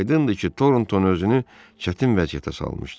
Aydındır ki, Tornton özünü çətin vəziyyətə salmışdı.